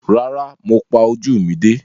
Rárá, mo pa ojú mi dé.